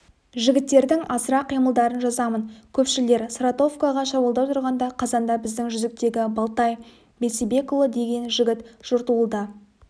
жігіттердің азырақ қимылдарын жазамын көпшілдер саратовкаға шабуылдап тұрғанда қазанда біздің жүздіктегі балтай бейсебекұлы деген жігіт жортуылда